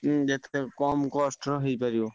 ହୁଁ ଯେତେ କମ cost ର ହେଇ ପାରିବ।